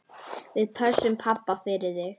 Við pössum pabba fyrir þig.